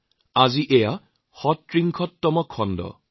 আজি এয়া ৩৬ সংখ্যক অনুষ্ঠান